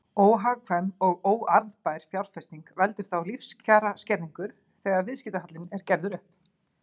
Óhagkvæm og óarðbær fjárfesting veldur þá lífskjaraskerðingu þegar viðskiptahallinn er gerður upp.